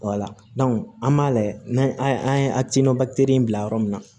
an b'a lajɛ n'an an ye akilina in bila yɔrɔ min na